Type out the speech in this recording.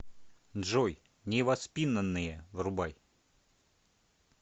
джой невоспинанные врубай